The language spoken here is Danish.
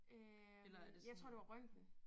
Øh jeg tror det var røntgen